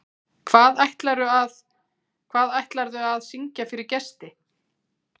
Hvað ætlarðu að, hvað ætlarðu að syngja fyrir gesti?